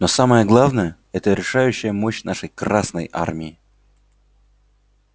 но самое главное это решающая мощь нашей красной армии